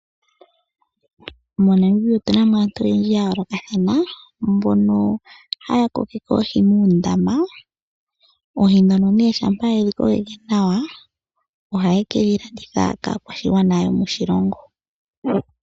MoNamibia otu na mo aantu oyendji ya yoolokathana mbono haya kokeke oohi muundama. Oohi ndhono shampa ye dhi kokeke nawa ohaye ke dhi landitha kaakwashigwana yomoshilongo.